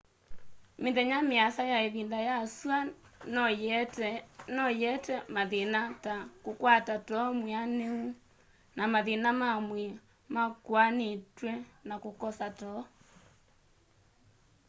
mĩthenya mĩasa ya ĩvinda ya sua noyĩete mathĩna ta kũkwata too mwĩanũ na mathĩna mamwĩĩ makũnanĩtwe na kũkosa too